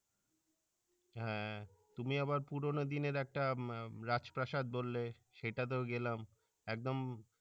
হ্যাঁ তুমি আবার পুরনো দিনের একটা রাজপ্রাসাদ বললে সেটাতেও গেলাম একদম